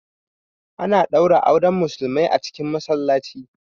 Ana ɗaura auren musulmai a masallaci